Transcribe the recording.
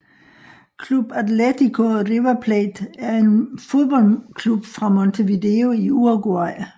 Club Atlético River Plate er en fodboldklub fra Montevideo i Uruguay